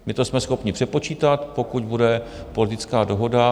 My to jsme schopni přepočítat, pokud bude politická dohoda.